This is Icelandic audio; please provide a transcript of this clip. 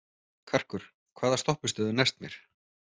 Karkur, hvaða stoppistöð er næst mér?